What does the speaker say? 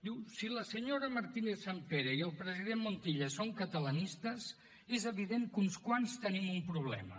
diu si la senyora martínez sampere i el president montilla són catalanistes és evident que uns quants tenim un problema